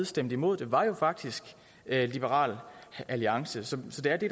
stemte imod det var jo faktisk liberal alliance så så det er det